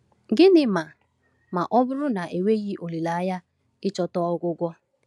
Gịnị ma ma ọ bụrụ na enweghi olileanya ịchọta ọgwụgwọ?